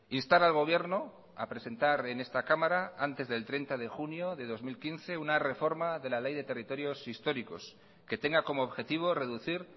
instar al gobierno a presentar en esta cámara antes del treinta de junio de dos mil quince una reforma de la ley de territorios históricos que tenga como objetivo reducir